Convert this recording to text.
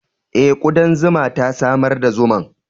Eh, kudan zuma ta samar da zuman.